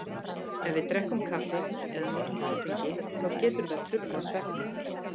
Ef við drekkum kaffi eða notum áfengi þá getur það truflað svefninn.